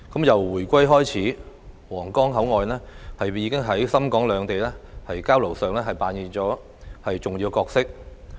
由回歸以來，皇崗口岸便在深港兩地交流上扮演着重要角色。